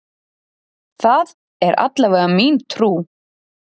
Það er allavega mín trú.